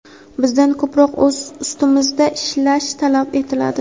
bizdan ko‘proq o‘z ustimizda ishlash talab etiladi.